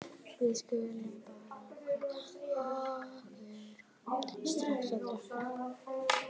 Við skulum bara fá okkur strax að drekka.